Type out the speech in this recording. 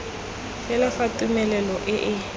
fela fa tumelelo e e